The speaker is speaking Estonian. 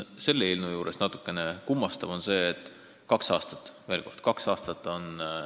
Selle eelnõu juures on natukene kummastav see, et kaks aastat – veel kord, kaks aastat!